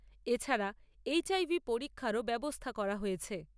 এছাড়া এইচ্আইভি পরীক্ষারও ব্যবস্থা করা হয়েছে।